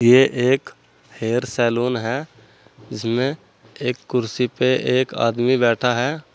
ये एक hair salon है। इसमें एक कुर्सी पे एक आदमी बैठा है।